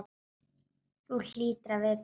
Þú hlýtur að vita það.